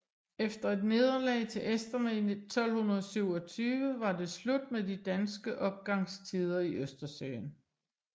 Efter et nederlag til esterne i 1227 var det slut med de danske opgangstider i Østersøen